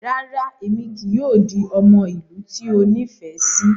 Rara, Emi kii yoo di ọmọ ilu ti o nifẹ si